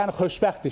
Yəni xoşbəxtik.